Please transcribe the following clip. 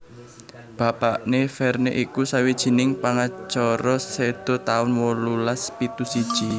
Bapakné Verne iku sawijining pangacara séda taun wolulas pitu siji